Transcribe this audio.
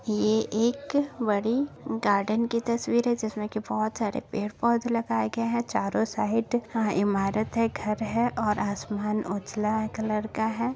ये एक बड़ी गार्डन की तस्वीर है जिसमे की बहुत सारे पेड़ पौधे लगाए गए है। चारों साइड यहाँ इमारत है घर है और आसमान उजला कलर का है।